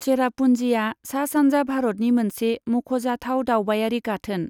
चेरापून्जीआ सा सानजा भारतनि मोनसे मख'जाथाव दावबायारि गाथोन।